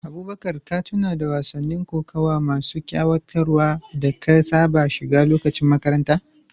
Abubakar, ka tuna da wasannin kokawa masu ƙayatarwa da ka saba shiga lokacin makaranta.